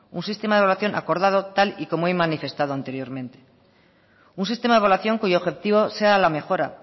un sistema de evaluación acordado tal y como he manifestado anteriormente un sistema de evaluación cuyo objetivo sea la mejora